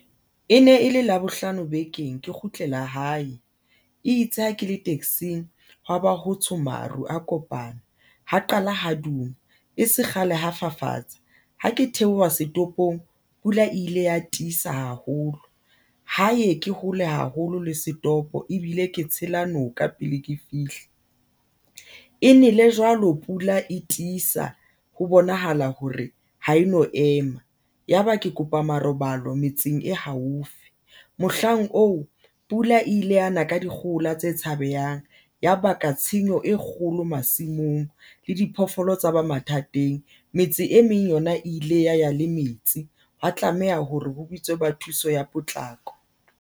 E ne e le labohlano bekeng, ke kgutlela hae e itse ha ke le taxing, hwaba ho tsho maru a kopana ho qala hoduma e se kgale ho fafatsa ha ke theoha setopong Pula ile ya tiisa haholo ho ye ke hole haholo le setopo ebile ke tshela noka pele ke fihle. E ne le jwalo, pula e tiisa ho bonahala hore ha e no ema yaba ke kopa marobalo metseng e haufi mohlang oo. Pula ile yana ka dikgohola tse tshabehang ya baka tshenyo e kgolo masimong le diphoofolo tsa ba mathateng. Metse e meng yona e ile ya ya le metsi. Ho tlameha hore ho bitswe ba thuso ya potlako.